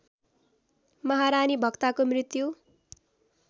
महारानी भक्ताको मृत्यु